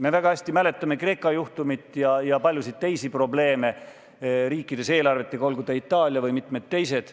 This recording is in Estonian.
Me väga hästi mäletame Kreeka juhtumit ja paljusid teisi probleeme riikides eelarvetega, olgu ta Itaalia või mitmed teised.